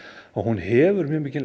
hún hefur mjög mikil